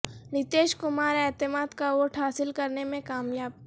نتیش کمار اعتماد کا ووٹ حاصل کرنے میں کامیاب